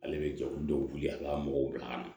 Ale bɛ jɔ olu denw wuli ka mɔgɔw bila ka na